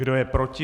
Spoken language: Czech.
Kdo je proti?